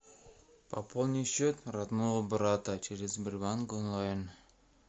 пополни счет родного брата через сбербанк онлайн